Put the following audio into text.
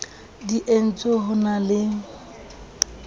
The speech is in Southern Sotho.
di entswe ho na di